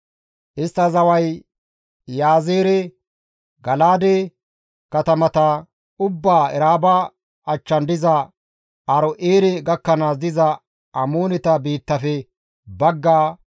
Istta zaway Iyaazeere, Gala7aade katamata ubbaa Eraaba achchan diza Aaro7eere gakkanaas diza Amooneta biittafe baggaa,